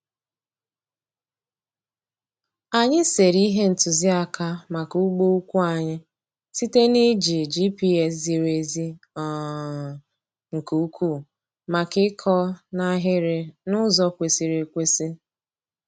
Anyị sere ihe ntụziaka maka ugbo ukwu anyị site na iji GPS ziri ezi um nke ukwuu maka ịkọ n’ahịrị n'ụzọ kwesịrị ekwesị.